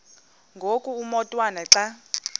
ngoku umotwana xa